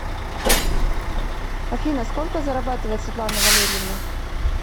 афина сколько зарабатывает светлана валерьевна